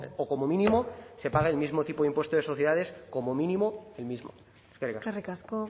o como mínimo se pague el mismo tipo de impuesto de sociedades como mínimo el mismo eskerrik asko